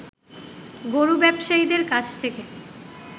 গরু ব্যবসায়ীদের কাছে থেকে